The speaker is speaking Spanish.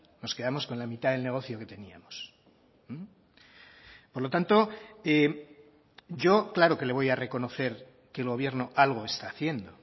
nos quedamos con la mitad del negocio que teníamos por lo tanto yo claro que le voy a reconocer que el gobierno algo está haciendo